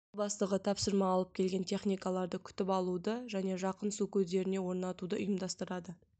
тыл бастығы тапсырма алып келген техникаларды күтіп алуды және жақын су көздеріне орнатуды ұйымдастырады